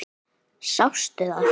Sástu það?